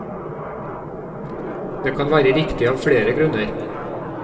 Det kan være riktig av flere grunner.